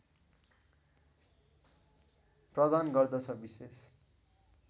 प्रदान गर्दछ विशेष